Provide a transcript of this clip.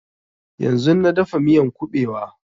Yanzun na dafa miyan ƙubewa